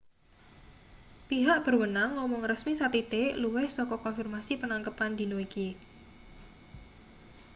pihak berwenang ngomong resmi sathithik luwih saka konfirmasi penangkepan dina iki